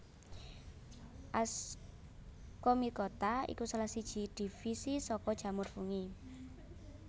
Ascomycota iku salah siji divisi saka jamur fungi